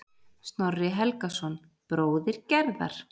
Snorri Helgason, bróðir Gerðar.